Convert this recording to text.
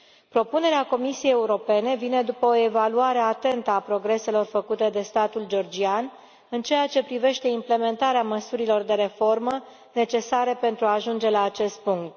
Propunerea Comisiei Europene vine după o evaluare atentă a progreselor făcute de statul georgian în ceea ce privește implementarea măsurilor de reformă, necesare pentru a ajunge la acest punct.